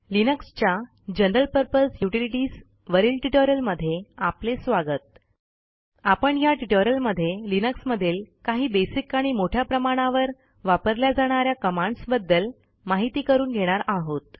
लिनक्सच्या general purpose utilities वरील ट्युटोरियलमध्ये आपले स्वागत आपण ह्या ट्युटोरियलमध्ये लिनक्समधील काही बेसिक आणि मोठ्या प्रमाणावर वापरल्या जाणा या कमांडस बद्दल माहिती करून घेणार आहोत